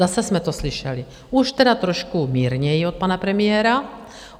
Zase jsme to slyšeli, už teda trošku mírněji od pana premiéra.